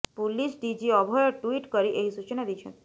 police DG Abhay tweet କରି ଏହି ସୂଚନା ଦେଇଛନ୍ତି